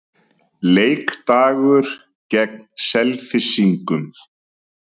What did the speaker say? Leikdagur gegn Selfyssingum.